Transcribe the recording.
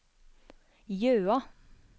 Jøa